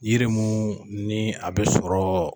Yiri mun ni a bi sɔrɔ.